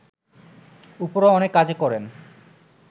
উপরও অনেক কাজ করেন